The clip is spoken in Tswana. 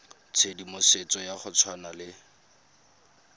tshedimosetso ya go tshwana le